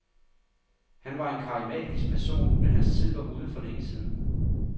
Han var en karismatisk person, men hans tid var ude for længe siden.